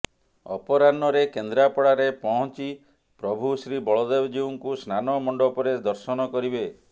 ଅପରାହ୍ନରେ କେନ୍ଦ୍ରାପଡ଼ାରେ ପହଁଚି ପ୍ରଭୁ ଶ୍ରୀବଳଦେବଜୀଉଙ୍କୁ ସ୍ନାନ ମଣ୍ଡପରେ ଦର୍ଶନ କରିବେ